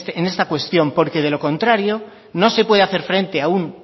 en esta cuestión porque de lo contrario no se puede hacer frente a un